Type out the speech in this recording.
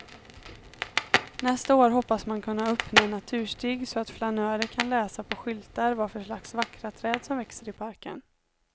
Nästa år hoppas man kunna öppna en naturstig så att flanörer kan läsa på skyltar vad för slags vackra träd som växer i parken.